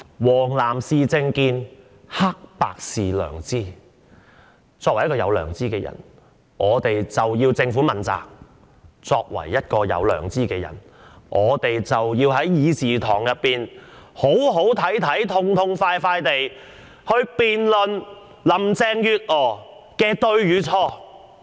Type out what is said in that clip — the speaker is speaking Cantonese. "黃藍是政見，黑白是良知"，作為一個有良知的人，我們便要向政府問責；作為一個有良知的人，我們便要在議事堂上"好好睇睇"、痛痛快快地辯論林鄭月娥的對與錯。